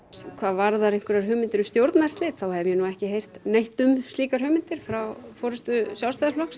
hvað varðar hugmyndir um stjórnarslit þá hef ég ekki heyrt neitt um slíkar hugmyndir frá forystu Sjálfstæðisflokksins